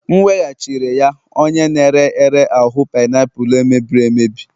M weghachiri ya onye na-ere ere ahụ painiapulu e mebiri emebi